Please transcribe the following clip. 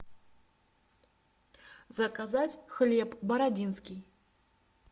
заказать хлеб бородинский